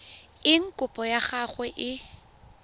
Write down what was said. eng kopo ya gago e